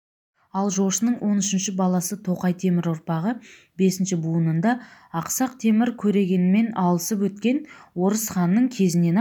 ал жошының он үшінші баласы тоқай темір ұрпағы бесінші буынында ақсақ темір көрегенмен алысып өткен орыс ханның кезінен-ақ